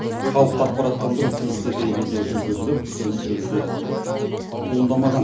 халықты ақпараттандыру тиісті деңгейде жүргізіліп түсініспеушілік туындамаған